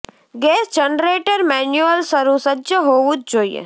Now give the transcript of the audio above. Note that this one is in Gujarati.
ગેસ જનરેટર મેન્યુઅલ શરૂ સજ્જ હોવું જ જોઈએ